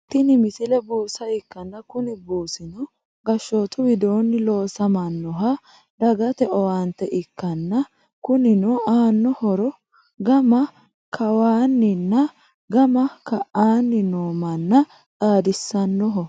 tini misile buusa ikkanna kuni buusino gashshootu widoonni loosamannoha dagate owaante ikkanna kunino aanno horo gama kawaanninna gama ka"aanni noo manna xaadisannoho.